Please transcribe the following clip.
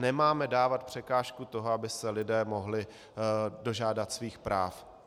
Nemáme dávat překážku toho, aby se lidé mohli dožádat svých práv.